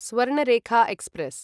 Swarnarekha express